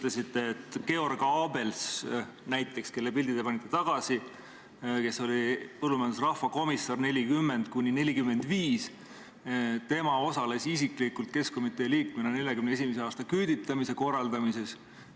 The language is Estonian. Näiteks, Georg Abels, kelle pildi te tagasi seinale panite ja kes oli põllumajanduse rahvakomissar 1940–1945, osales keskkomitee liikmena isiklikult 1941. aasta küüditamise korraldamises.